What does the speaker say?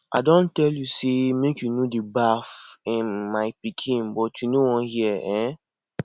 i don tell you say make you no dey baff um my pikin but you no wan hear um